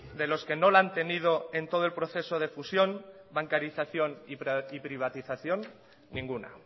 de los que no la han tenido en todo el proceso de fusión bancarización y privatización ninguna